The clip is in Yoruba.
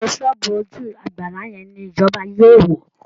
GBógbó ṣọ́ọ̀bù ojú àgbárá yẹn ni ìjọba yóò wó